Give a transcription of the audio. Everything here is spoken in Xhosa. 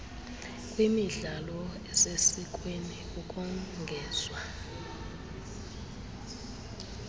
kwimidlalo esesikweni ukongezwa